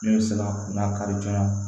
Min bɛ se ka n'a kari joona